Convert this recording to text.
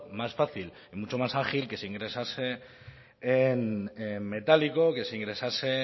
más fácil mucho más ágil que se ingresase en metálico que se ingresase